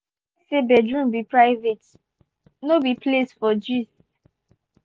we dey respect say bedroom be private no be place for gist.